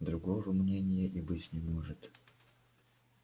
другого мнения и быть не может